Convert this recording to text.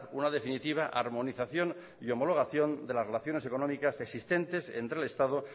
una definitiva harmonización y homologación de las relaciones económicas existentes entre el estado